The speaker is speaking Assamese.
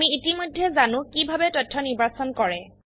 আমি ইতিমধেই জানো কিভাবে তথ্য নিৰ্বাচন কৰে